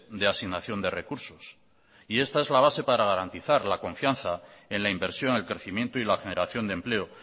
de asignación de recursos y esta es la base para garantizar la confianza en la inversión el crecimiento y la generación de empleo